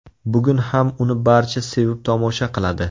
Bugun ham uni barcha sevib tomosha qiladi.